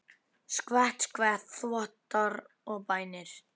Skvett, skvett, þvottar og bænir.